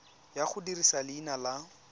ya go dirisa leina la